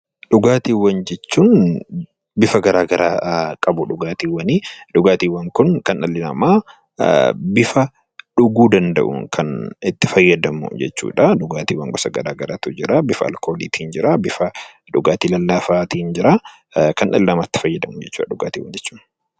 Dhugaatiiwwan jechuun bifa gara garaa qabu dhugaatiiwwani. Dhugaatiiwwan kun kan dhallu namaa bifa dhuguu danda'uun kan itti fayyadamu jechuu dha. Dhugaatiiwwan gosa gara garaatu jira. Bifa alkoolii tiin jira, bifa dhugaatii lallaafaa tiin jira. Kan dhalli namaa itti fayyadamu jechuu dha dhugaatiiwwan jechuun.